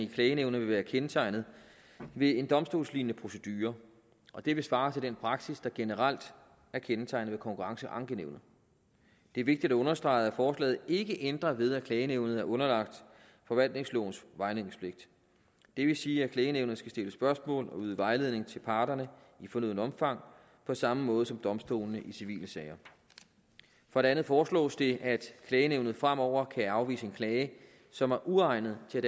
i klagenævnet vil være kendetegnet ved en domstolslignende procedure og det vil svare til den praksis der generelt er kendetegnende for konkurrenceankenævnet det er vigtigt at understrege at forslaget ikke ændrer ved at klagenævnet er underlagt forvaltningslovens vejledningspligt det vil sige at klagenævnet skal stille spørgsmål og yde vejledning til parterne i fornødent omfang på samme måde som domstolene i civile sager for det andet foreslås det at klagenævnet fremover kan afvise en klage som er uegnet til